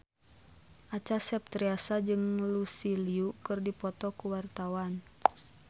Acha Septriasa jeung Lucy Liu keur dipoto ku wartawan